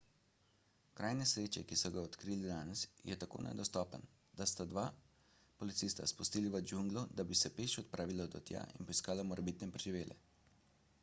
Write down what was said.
kraj nesreče ki so ga odkrili danes je tako nedostopen da so dva policista spustili v džunglo da bi se peš odpravila do tja in poiskala morebitne preživele